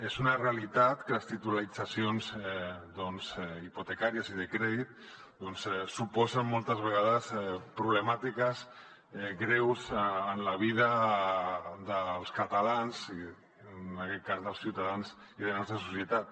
és una realitat que les titulitzacions hipotecàries i de crèdit suposen moltes vegades problemàtiques greus en la vida dels catalans i en aquest cas dels ciutadans de la nostra societat